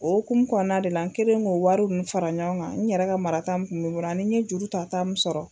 O hokumu kɔnɔna de la an kɛlen ko wari ninnu fara ɲɔgɔn kan n yɛrɛ ka marata min kun bɛ n bolo ani n ye jurutata min sɔrɔ.